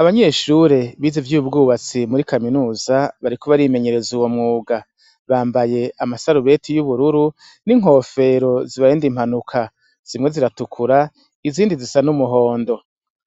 Abanyeshure biza vyo ubwubatsi muri kaminuza, barikubarimenyereza uwo mwuga, bambaye amasarubeti y'ubururu n'inkofero zibarenda impanuka, zimwe ziratukura izindi zisa n'umuhondo,